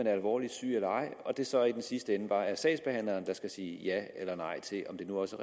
er alvorligt syg eller ej og det så i den sidste ende bare er sagsbehandleren der skal sige ja eller nej til om det nu også